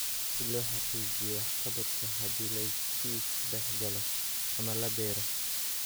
Si loo xaqiijiyo waxqabadka haddii la iskiis u dhexgalo ama la beero.